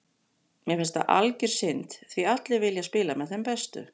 Mér finnst það algjör synd því allir vilja spila með þeim bestu.